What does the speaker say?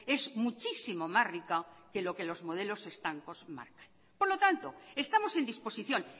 es muchísimo más rica que lo que los modelos estancos marcan por lo tanto estamos en disposición